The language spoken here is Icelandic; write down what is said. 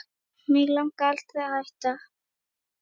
Mig langaði aldrei að hætta